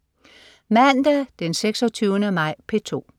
Mandag den 26. maj - P2: